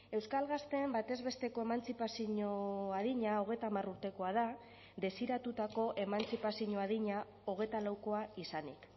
euskal gazteen batez besteko emantzipazio adina hogeita hamar urtekoa da desiratutako emantzipazio adina hogeita laukoa izanik